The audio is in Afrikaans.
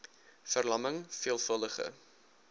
ver lamming veelvuldige